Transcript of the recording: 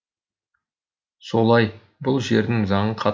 солай бұл жердің заңы қатал